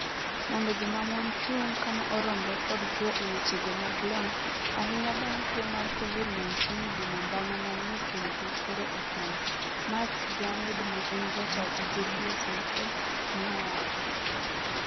"Mondo joma mon chung' kama oromre kod chwo e weche go mag lony, ahinya bang tuo mar Covid-19 dino mbanya menie kindgi koro ochuno. Mats Granyrd ma en jataa tije GSMA neowacho.